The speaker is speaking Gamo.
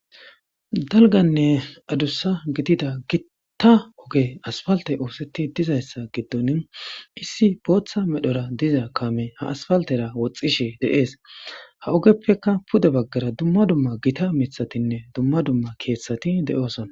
dalganne adussa gidida gittta oge asfalte oosetti dizayssa giddon issi bootha medhora diza kame ha asfaltera woxxishe deees ha ogeppeka pude baggara dumma dumma gita mithatinne dumma dumma keethtsati de7osona